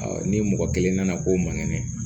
ni mɔgɔ kelen nana k'o man kɛnɛ